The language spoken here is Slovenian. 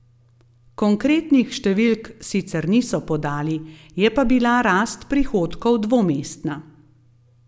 Konkretnih številk sicer niso podali, je pa bila rast prihodkov dvomestna.